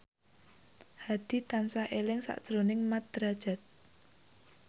Hadi tansah eling sakjroning Mat Drajat